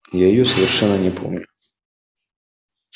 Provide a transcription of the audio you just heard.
я её совершенно не помню